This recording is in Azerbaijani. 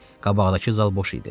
Qabaqdakı zal boş idi.